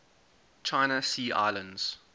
china sea islands